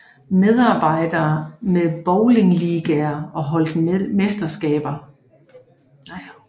Medarbejderne havde bowlingligaer og holdt mesterskaber